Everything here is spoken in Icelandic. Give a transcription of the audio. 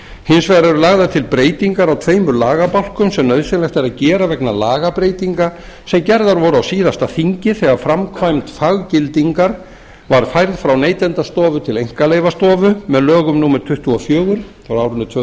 hins vegar eru lagðar til breytingar á tveimur lagabálkum sem nauðsynlegt er að gera vegna lagabreytinga sem gerðar voru á síðasta þingi þegar framkvæmd faggildingar var færð frá neytendastofu til einkaleyfastofu með lögum númer tuttugu og fjögur tvö